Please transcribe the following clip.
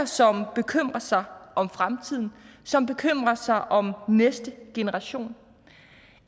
som bekymrer sig om fremtiden og som bekymrer sig om næste generation